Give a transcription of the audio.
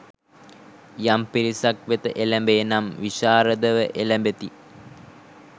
යම් පිරිසක් වෙත එළැඹේ නම් විශාරදව එළැඹෙති.